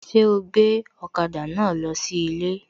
Ṣé ó gbé ọ̀kada náà lọ sí ilé?